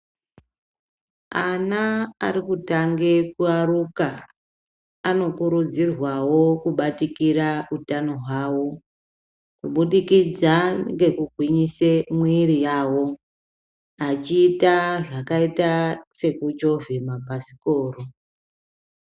Ana arikutange kuyaruka anokurudzirwawo kubatikira utano hwavo kuburikidza ngekugwinyise miiri yavo achiita zvakaita sekuchovhe mabhasikoro.